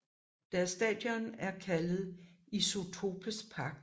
Deres stadion er kaldet Isotopes Park